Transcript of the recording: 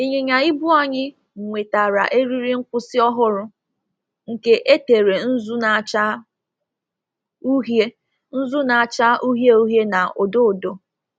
Ịnyịnya ibu anyị nwetara eriri nkwụsị ọhụrụ, nke e tere nzu na-acha uhie nzu na-acha uhie uhie na odo odo